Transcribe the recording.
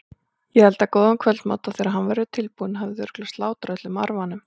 Ég elda góðan kvöldmat og þegar hann verður tilbúinn hafið þið örugglega slátrað öllum arfanum.